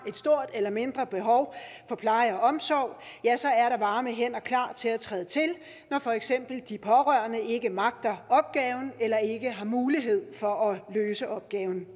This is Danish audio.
stort eller mindre behov for pleje og omsorg ja så er der varme hænder klar til at træde til når for eksempel de pårørende ikke magter opgaven eller ikke har mulighed for at løse opgaven